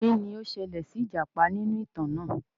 Kini o ṣẹlẹ si ijapa ninu itan naa?